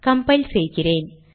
compile செய்கிறேன்